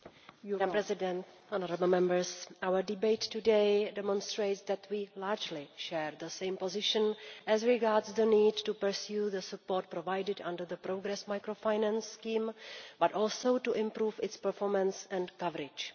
Madam President, our debate today demonstrates that we largely share the same position as regards the need not only to pursue the support provided under the Progress Microfinance Scheme, but also to improve its performance and coverage.